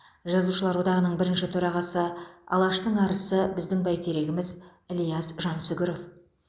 жазушылар одағының бірінші төрағасы алаштың арысы біздің бәйтерегіміз ілияс жансүгіров